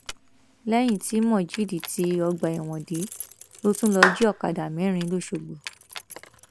lẹyìn tí mojeed tí ọgbà ẹwọn dé ló tún lọọ jí ọkadà mẹrin lọsọgbó